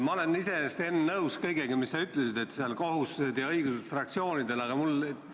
Ma olen iseenesest, Enn, nõus kõigega, mis sa ütlesid, et fraktsioonidel on kohustused ja õigused.